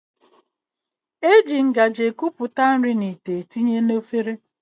E ji ngaji ekupụta nri n'ite etinye na efere